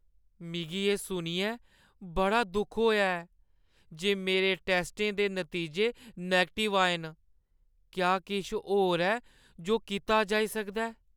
मिगी एह् सुनियै बड़ा दुख होआ ऐ जे मेरे टैस्टें दे नतीजे नैगटिव आए न। क्या किश होर ऐ जो कीता जाई सकदा ऐ?